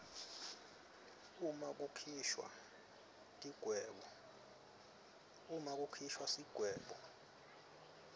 uma kukhishwa sigwebo